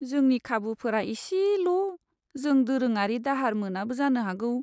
जोंनि खाबुफोरा एसेल'! जों दोरोङारि दाहार मोनाबो जानो हागौ।